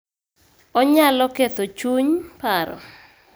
Onyalo ketho chuny, paro,